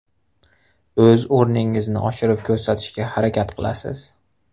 O‘z o‘rningizni oshirib ko‘rsatishga harakat qilasiz.